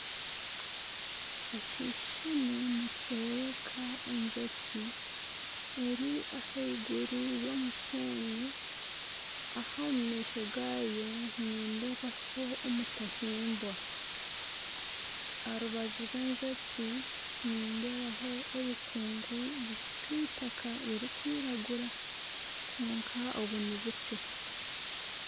Ekishushani nikyoreka enjoki eri ah'eiguru y'omushenyi aha omu maisho gayo nindebaho omutahimbwa aha rubaju rw'enjoki nindebaho obukungu bw'eitaka riri kwiragura kwonka obu nibukye.